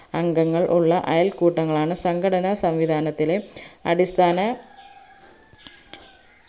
അംഗങ്ങൾ ഉള്ള അയൽക്കൂട്ടങ്ങളാണ് സംഘടന സംവിദാനത്തിലെ അടിസ്ഥാന